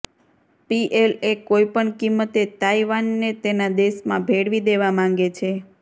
PLA કોઇપણ કિંમતે તાઇવાનને તેના દેશમાં ભેળવી દેવા માંગે છે